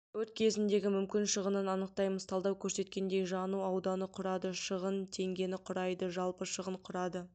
өрт кезіндегі мүмкін шығынын анықтаймыз талдау көрсеткендей жану ауданы құрады шығын теңгені құрайды жалпы шығын құрады